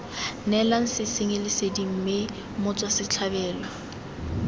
neelang sesenyi lesedi mme motswasetlhabelo